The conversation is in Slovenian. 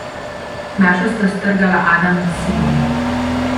Našo sta strgala Adam in Simon.